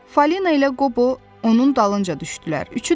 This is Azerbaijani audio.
Falina ilə Qobo onun dalınca düşdülər.